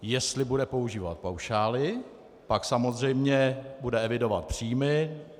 Jestli bude používat paušály, pak samozřejmě bude evidovat příjmy.